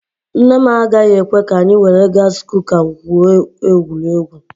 Nne m agaghị ekwe ka anyị were gaasi kuka gwuo egwuregwu.